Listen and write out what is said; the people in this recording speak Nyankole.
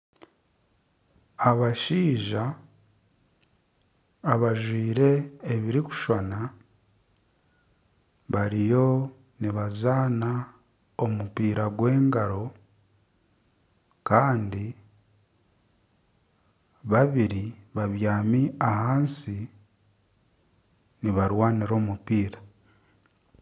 Abashaija abajwaire ebirikushushana bariyo nibazana omupiira gwa engaro babiri babyami ahansi nibarwanira omupiira.